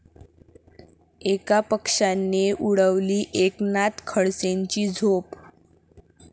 एका पक्षाने उडवली एकनाथ खडसेंची झोप